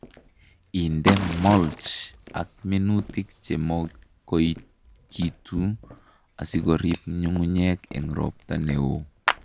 Inde mulch ak minutik che makoikitu asikorib nyung'unyek eng robta neoo